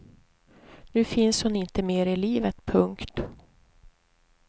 Nu finns hon inte mer i livet. punkt